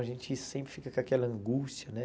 A gente sempre fica com aquela angústia, né?